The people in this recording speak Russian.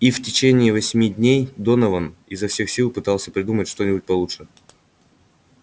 и в течение восьми дней донован изо всех сил пытался придумать что-нибудь получше